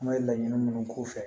An ka laɲini minnu k'u fɛ